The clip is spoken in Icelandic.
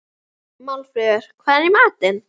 Málfríður, hvað er í matinn?